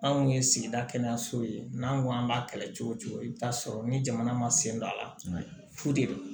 Anw kun ye sigida kɛnɛyaso ye n'an ko k'an b'a kɛlɛ cogo cogo i bɛ t'a sɔrɔ ni jamana ma sen don a la fu de